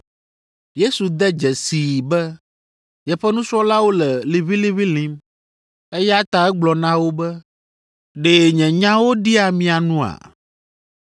Yesu de dzesii be yeƒe nusrɔ̃lawo le liʋĩliʋĩ lĩm, eya ta egblɔ na wo be, “Ɖe nye nyawo ɖia mia nua?